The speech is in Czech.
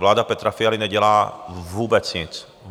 Vláda Petra Fialy nedělá vůbec nic.